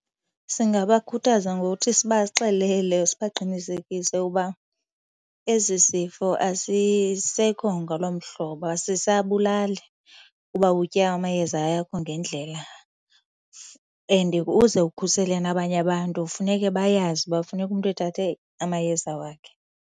Singabakhuthaza ngokuthi sibaxelele, sibaqinisekise uba esi sifo asisekho ngaloo mhlobo, asisabulali uba utye amayeza wakho ngendlela. And uze ukhusele nabanye abantu funeke bayazi uba funeka umntu ethathe amayeza wakhe.